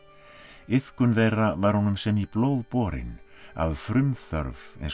iðkun þeirra var honum sem í blóð borin af frumþörf eins og